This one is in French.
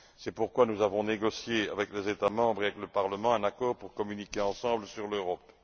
C'est pourquoi nous avons négocié avec les États membres et avec le Parlement un accord pour communiquer ensemble sur l'Europe.